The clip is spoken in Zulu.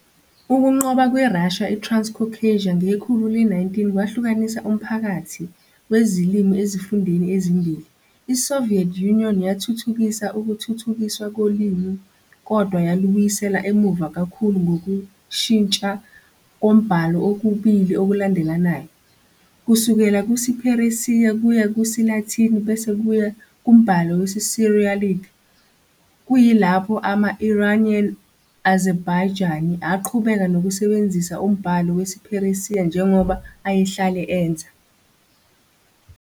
Ukunqoba kweRussia iTranscaucasia ngekhulu le-19 kwahlukanisa umphakathi wezilimi ezifundeni ezimbili, iSoviet Union yathuthukisa ukuthuthukiswa kolimi kodwa yalubuyisela emuva kakhulu ngokushintsha kombhalo okubili okulandelanayo - kusukela kusiPheresiya kuya kusiLatini bese kuya kumbhalo wesiCyrillic - kuyilapho ama-Iranian Azerbaijani aqhubeka nokusebenzisa umbhalo wesiPheresiya njengoba ayehlale enza.